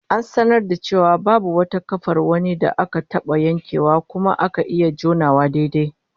An sanar da mu cewa babu wata kafar wani da aka taba yankewa kuma aka iya jonawa daidai